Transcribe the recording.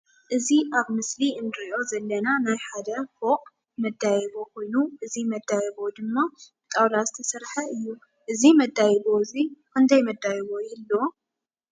እዚ ኣብ ምስሊ እንሪኦ ዘለና ናይ ሓደ ፉቅ ማደያይቦ ኮይኑ እዚ መደያይቦ ድማ ብጣውላ ዝተሰርሐ እዩ። እዚ መደያይቦ እዙይ ክንዳይ መደያይቦ ይ|ህልዎ?